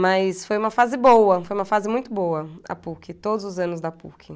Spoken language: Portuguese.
Mas foi uma fase boa, foi uma fase muito boa a Puc, todos os anos da Puc.